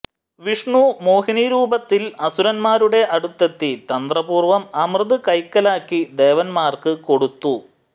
വിഷ്ണു മോഹിനിരൂപത്തിൽ അസുരന്മാരുടെ അടുത്തെത്തി തന്ത്രപൂർവം അമൃത് കൈക്കലാക്കി ദേവന്മാർക്ക് കൊടുത്തു